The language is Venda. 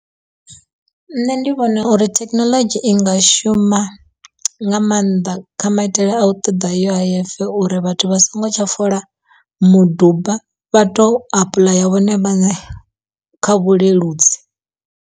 Nṋe ndi vhona uri thekinoḽodzhi i nga shuma nga maanḓa kha maitele a u ṱoḓa uif uri vhathu vha songo tsha fola muduba vha to apuḽaya vhone vhaṋe kha vhuleludzi.